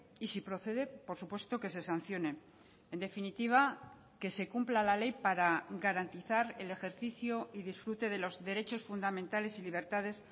y si procede por supuesto que se sancionen en definitiva que se cumpla la ley para garantizar el ejercicio y disfrute de los derechos fundamentales y libertades